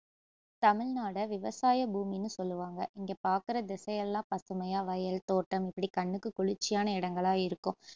தமிழ்நாட விவசாய பூமின்னு சொல்லுவாங்க இங்க பாக்குற திசையெல்லாம் பசுமையா வயல், தோட்டம் இப்படி கண்ணுக்கு குளிர்ச்சியான இடங்களா இருக்கும்